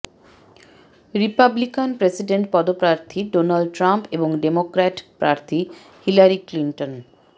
Republican president পদপ্রার্থী Donald Trump এবং Democrat প্রার্থী হিলারি ক্লিন্টন